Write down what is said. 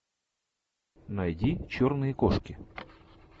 найди черные кошки